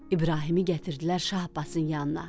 İbrahimi gətirdilər Şah Abbasın yanına.